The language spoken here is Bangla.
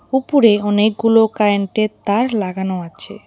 উপরে অনেকগুলো কারেন্টের তার লাগানো আছে।